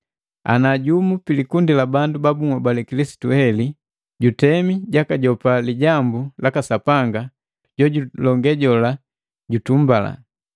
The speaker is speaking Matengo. Ana jumu pilikundi labandu ba bunhobale Kilisitu heli jutemi jakajopa lijambu laka Sapanga, jojulonge jola nujutumbalaje.